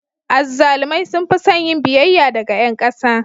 Azzalumai sun fi son yin biyayya daga ƴan ƙasa.